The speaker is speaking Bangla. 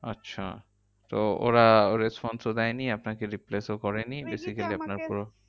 আচ্ছা তো ওরা response ও দেয়নি আপনাকে replace ও করেনি? swiggy তে আমাকে basically আপনার পুরো